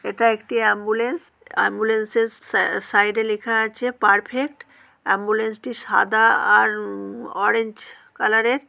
এটা একটি ambulance. Ambulance -এর স স স্যা সাইড -এ লিখা আছে পারফেক্ট । অ্যাম্বুলেন্স -টি সাদা আর উম অরেঞ্জ কালার -এর।